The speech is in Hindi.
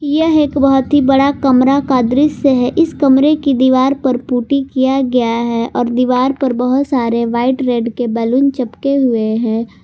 यह एक बहुत ही बड़ा कमरा का दृश्य है इस कमरे की दीवार पर पुट्टी किया गया है और दीवार पर बहुत सारे व्हाइट रेड के बैलून चिपके हुए हैं।